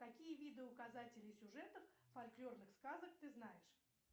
какие виды указателей сюжетов фольклорных сказок ты знаешь